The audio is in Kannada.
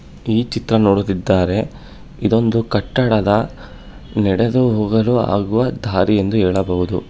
ಈ ಚಿತ್ರ ನೋಡುತ್ತಿದ್ದಾರೆ ಇದೊಂದು ಕಟ್ಟಡದ ನಡೆದು ಹೋಗಲು ಆಗುವ ದಾರಿ ಎಂದು ಹೇಳಬಹುದು.